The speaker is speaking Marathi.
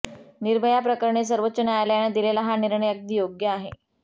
निर्भया प्रकरणी सर्वोच्च न्यायालयाने दिलेला हा निर्णय अगदी योग्य आहे